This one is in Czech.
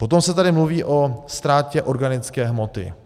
Potom se tady mluví o ztrátě organické hmoty.